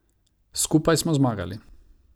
Skupaj smo zmagali.